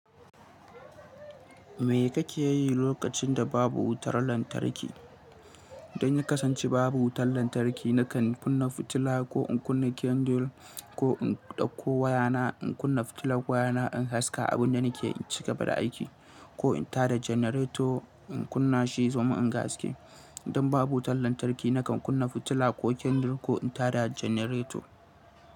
Me kake yi lokacin da babu wutar lantarki? Idan ya kasance babu wutar lantarki, nakan kunna fitila ko in kunna kyandil, ko in ɗauko wayana in kunna fitilar wayana in haska abin da nake cika ba da aiki, ko in tada janereto in kunna shi domin in ga haske. Idan babu wutar lantarki nakan kunna fitila ko kyandil ko in tada janereto.